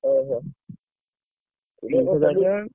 ଓହୋ।